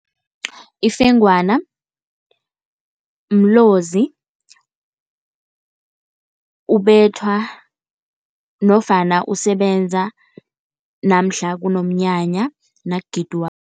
Ifengwana mlozi, ubethwa nofana usebenza namhla kunomnyanya nakugidwako.